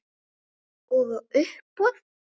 Og á uppboð.